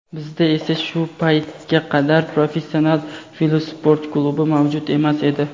Bizda esa shu paytga qadar professional velosport klubi mavjud emas edi.